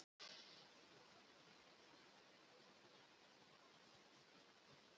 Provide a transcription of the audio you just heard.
Það skoraði hann með skalla eftir hornspyrnu.